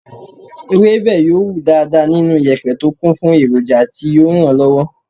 Ewébẹ̀ yóò wù dáadáa nínú yèpẹ̀ tó kún fún èròjà tí yóò ràn lọ́wọ́.